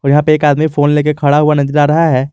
यहां पे एक आदमी फोन लेके खड़ा हुआ नजर आ रहा है।